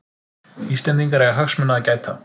Íslendingar eiga hagsmuna að gæta